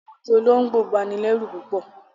Awọn ojú ologbọ ń bàní lẹ̀rú púpọ̀